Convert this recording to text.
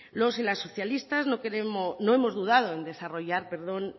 los y las socialistas no hemos dudado en desarrollar